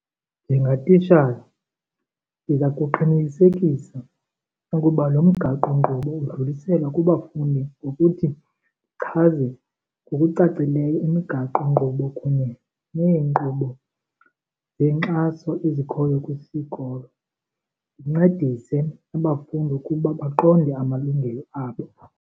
Njengatitshala ndiza kuqinisekisa ukuba lo mgaqonkqubo udluliselwa kubafundi ngokuthi ndichaze ngokucacileyo imigaqonkqubo kunye neenkqubo zenkxaso ezikhoyo kwisikolo. Ndincedise abafundi ukuba baqonde amalungelo abo.